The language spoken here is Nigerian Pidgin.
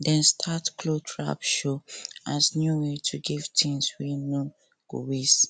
dem start cloth swap show as new way to give things wey no go waste